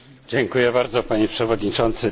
Dziękuję bardzo Panie Przewodniczący!